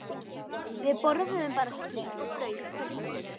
Við borðuðum bara skyr og brauð í kvöldmatinn.